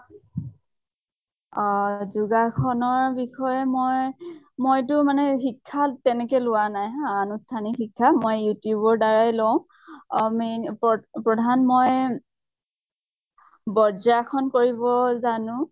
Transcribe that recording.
অ যোগাসনৰ বিষয়ে মই, মই তো মানে শিক্ষা তেনেকে লোৱা নাই হা, আনুষ্ঠানিক শিক্ষা । মই youtube ৰ দ্বাৰায়ে লওঁ । main প্ৰ প্ৰধান মই ব্ৰজাসন জানো ।